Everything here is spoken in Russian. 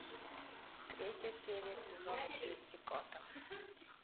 третья серия сезона девять готэм